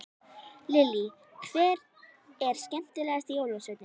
Lillý: Hver er skemmtilegast jólasveinninn?